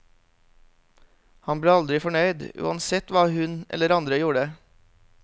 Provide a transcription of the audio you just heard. Han ble aldri fornøyd, uansett hva hun eller andre gjorde.